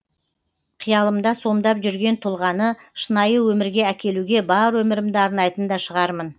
қиялымда сомдап жүрген тұлғаны шынайы өмірге әкелуге бар өмірімді арнайтын да шығармын